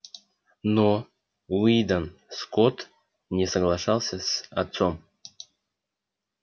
но уидон скотт не соглашался с отцом